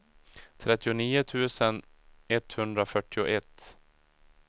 trettionio tusen etthundrafyrtioett